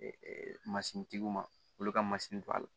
Masini tigiw ma olu ka masi to a la